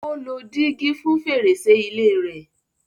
Ó lo dígí fún fèrèsé ilé rẹ̀.